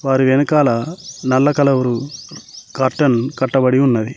వారి వెనకాల నల్ల కలరు కర్టన్ కట్టబడి ఉన్నది.